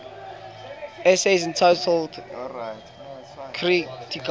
essays entitled kritika